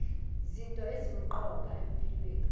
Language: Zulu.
zinto ezisemqoka empilweni